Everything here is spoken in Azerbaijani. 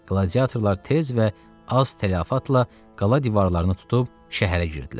Qladiyatorlar tez və az tələfatla qala divarlarını tutub şəhərə girdilər.